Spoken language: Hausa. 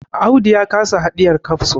Audu ya kasa hidiyar kafso